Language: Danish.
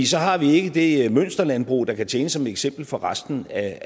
så har vi ikke det mønsterlandbrug der kan tjene som eksempel for resten af